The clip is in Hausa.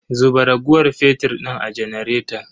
Zuba raguwar fetir din a janaretan.